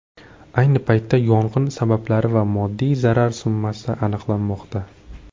Ayni paytda yong‘in sabablari va moddiy zarar summasi aniqlanmoqda.